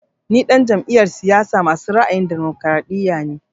Ni ɗan jam'iyar siyasa masu ra'ayin damokaraɗiya (PDP) ne